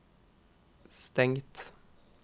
stengt